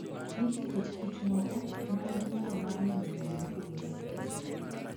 Nitie kit kich moko ma nigi nyalo mar neno rangi mopogore opogore.